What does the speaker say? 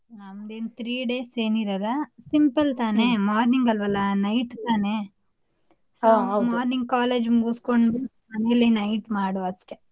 ನಮ್ದೇನ್ three days ಏನ್ ಇರಲ್ಲ simple ತಾನೆ morning ಅಲ್ವಲ್ಲಾ night ತಾನೇ. so morning college ಮುಗಿಸಕೊಂಡು ಮನೇಲಿ night ಮಾಡುದ್ ಅಷ್ಟೇ.